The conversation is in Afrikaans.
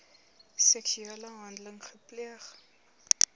seksuele handeling gepleeg